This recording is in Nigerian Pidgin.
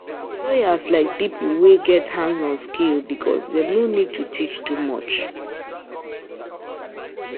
Employers like people wey get hands-on skills because dem no need to teach too much.